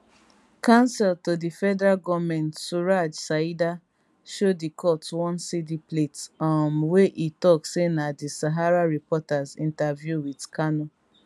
counsel to di federal goment suraj saida show di court one cd plate um wey e tok say na di sahara reporters interview wit kanu